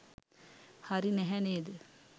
හරි නැහැ නේද?